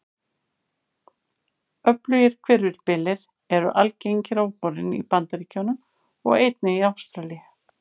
Öflugir hvirfilbyljir eru algengir á vorin í Bandaríkjunum og einnig í Ástralíu.